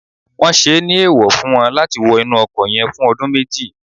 won se ni eewo fun won lati wo inu oko yen fun odun meji